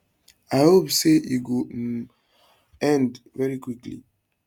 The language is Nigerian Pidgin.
i hope say e go um end very quickly